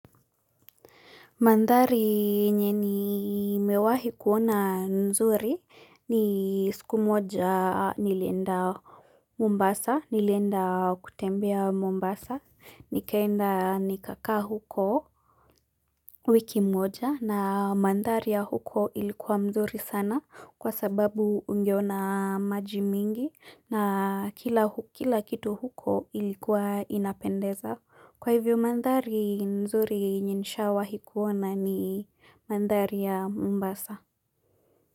Mandhari yenye nimewahi kuona nzuri ni siku moja nilienda Mombasa, nilienda kutembea Mombasa, nikaenda nikakaa huko wiki moja na mandhari ya huko ilikuwa nzuri sana kwa sababu ungeona maji mingi na kila kitu huko ilikuwa inapendeza. Kwa hivyo mandhari nzuri yenye nishawahi kuona ni mandhari ya mombasa.